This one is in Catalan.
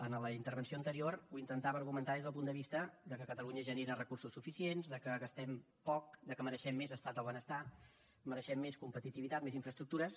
en la intervenció anterior ho intentava argumentar des del punt de vista que catalunya genera recursos suficients que gastem poc que mereixem més estat del benestar mereixem més competitivitat més infraestructures